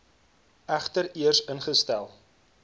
egter eers ingestel